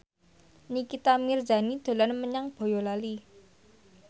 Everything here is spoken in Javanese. Nikita Mirzani dolan menyang Boyolali